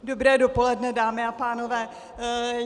Dobré dopoledne, dámy a pánové.